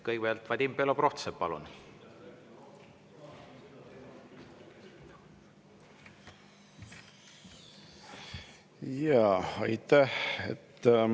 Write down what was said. Kõigepealt Vadim Belobrovtsev, palun!